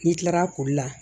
N'i kilara koli la